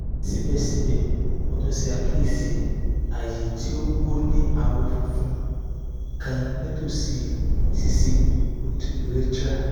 sibẹsibẹ mo tun ṣe akiyesi aaye ti o ni awọ funfun kan nitosi ṣiṣi urethra